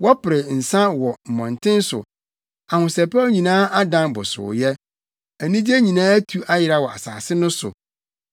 Wɔpere nsa wɔ mmɔnten so; ahosɛpɛw nyinaa adan bosooyɛ, anigye nyinaa atu ayera wɔ asase no so.